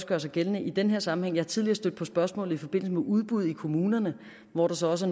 gøre sig gældende i den her sammenhæng jeg er tidligere stødt på spørgsmålet i forbindelse med udbud i kommunerne hvor der så også